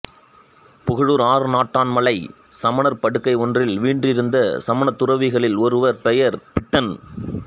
புகழூர் ஆறுநாட்டான் மலை சமணர் படுக்கை ஒன்றில் வீற்றிருந்த சமணத்துறவிகளில் ஒருவர் பெயர் பிட்டன்